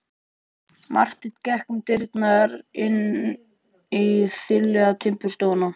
Marteinn gekk um dyrnar og inn í þiljaða timburstofuna.